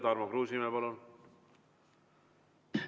Tarmo Kruusimäe, palun!